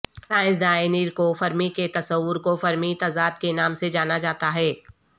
سائنسداں Enrico Fermi کے تصور کو فرمی تضاد کے نام سے جانا جاتا ہے